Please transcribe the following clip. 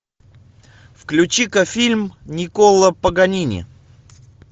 включи ка фильм никколо паганини